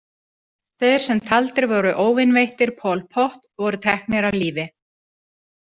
Þeir sem taldir voru óvinveittir Pol Pot voru teknir af lífi.